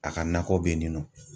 A ka nakɔ bɛ yen nin nɔ.